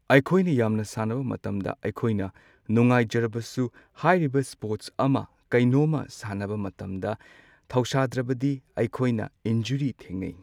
ꯑꯩꯈꯣꯏꯅ ꯌꯥꯝꯅ ꯁꯥꯟꯅꯕ ꯃꯇꯝꯗ ꯑꯩꯈꯣꯏꯅ ꯅꯨꯡꯉꯥꯏꯖꯔꯕꯁꯨ ꯍꯥꯏꯔꯤꯕ ꯁ꯭ꯄꯣꯔꯇꯁ ꯑꯃ ꯀꯩꯅꯣꯝꯃ ꯁꯥꯟꯅꯕ ꯃꯇꯝꯗ ꯊꯧꯁꯥꯗ꯭ꯔꯕꯗꯤ ꯑꯩꯈꯣꯏꯅ ꯏꯟꯖꯨꯔꯤ ꯊꯦꯡꯅꯩ꯫